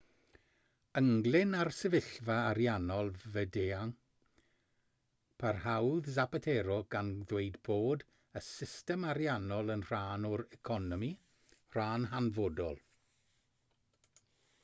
ynglŷn â'r sefyllfa ariannol fyd-eang parhaodd zapatero gan ddweud bod y system ariannol yn rhan o'r economi rhan hanfodol